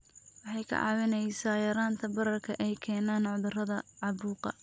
Waxay kaa caawinaysaa yaraynta bararka ay keenaan cudurrada caabuqa.